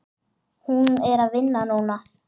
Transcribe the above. Hún er að vinna núna.